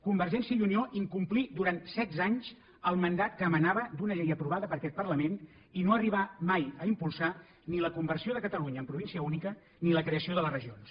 convergència i unió incomplí durant setze anys el mandat que emanava d’una llei provada per aquest parlament i no arribà mai a impulsar ni la conversió de catalunya en província única ni la creació de les regions